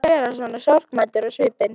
Ekki vera svona sorgmæddur á svipinn.